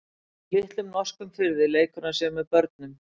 Í litlum norskum firði leikur hann sér með börnum.